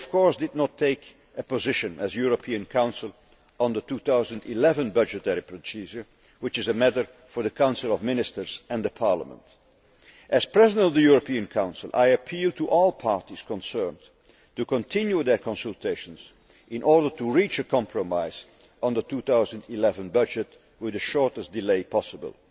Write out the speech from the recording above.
We did not, of course, take a position as the European Council on the 2011 budgetary procedure, as this is a matter for the Council of Ministers and Parliament. As President of the European Council, I appeal to all parties concerned to continue their consultations in order to reach a compromise on the 2011 budget with the shortest delay possible.